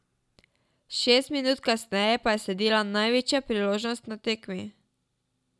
Šest minut kasneje pa je sledila največja priložnost na tekmi.